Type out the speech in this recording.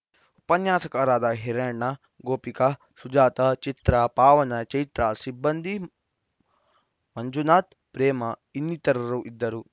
ಉಪನ್ಯಾಸಕರಾದ ಹಿರಿಯಣ್ಣ ಗೋಪಿಕಾ ಸುಜಾತಾ ಚಿತ್ರಾ ಪಾವನ ಚೈತ್ರಾ ಸಿಬ್ಬಂದಿ ಮಂಜುನಾಥ್‌ ಪ್ರೇಮ ಇನ್ನಿತರರು ಇದ್ದರು